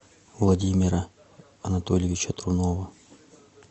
владимира анатольевича трунова